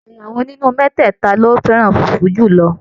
Ẹyà wo nínú mẹtẹta lo fẹràn fufu julọ?